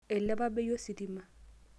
Eilepa bei ositima.